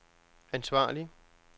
ansvarlig